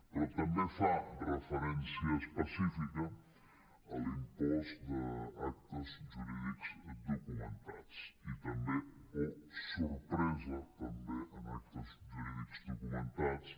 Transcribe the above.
però també fa referència específica a l’impost d’actes jurídics documentats i també oh sor·presa en actes jurídics documentats